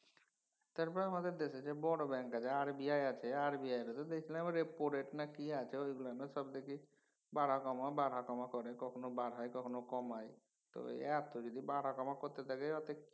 তারপরে আমাদের দেশে যে বড় ব্যাঙ্ক আছে RBI আছে RBI তে তো দেখলাম repo rate না কি আছে ওইগুলানও সব দেখি বাড়া কমা বাড়া কমা করে কখনও বাড়ায় কখনও কমায় তো এত যদি বাড়া কমা করতে থাকে ওতে